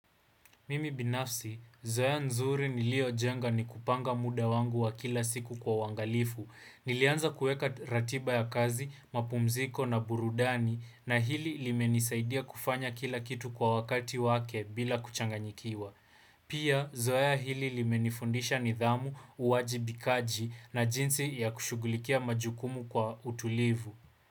Mimi binafsi, zoea nzuri nilio jenga ni kupanga muda wangu wa kila siku kwa uwangalifu. Nilianza kueka ratiba ya kazi, mapumziko na burudani na hili limenisaidia kufanya kila kitu kwa wakati wake bila kuchanganyikiwa. Pia, zoea hili limenifundisha nidhamu, uwajibikaji na jinsi ya kushugulikia majukumu kwa utulivu.